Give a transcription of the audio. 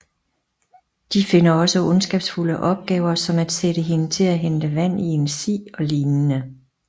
De finder på ondskabsfulde opgaver som at sætte hende til at hente vand i en si og lignende